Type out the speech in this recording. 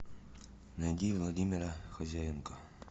найди владимира хозяенко